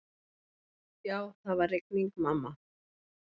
Já, það var rigning, mamma.